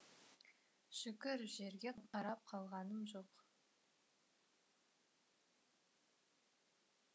шүкір жерге қарап қалғаным жоқ